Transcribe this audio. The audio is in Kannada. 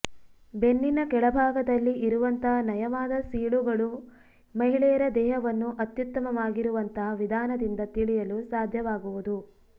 ಬೆನ್ನಿನ ಕೆಳಭಾಗದಲ್ಲಿ ಇರುವಂತಹ ನಯವಾದ ಸೀಳೂಗಳು ಮಹಿಳೆಯರ ದೇಹವನ್ನು ಅತ್ಯುತ್ತಮವಾಗಿರುವಂತಹ ವಿಧಾನದಿಂದ ತಿಳಿಯಲು ಸಾಧ್ಯವಾಗುವುದು